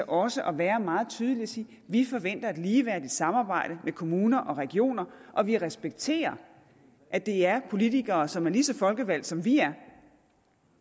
også at være meget tydelig og sige vi forventer et ligeværdigt samarbejde med kommuner og regioner og vi respekterer at det er politikere som er lige så folkevalgte som vi er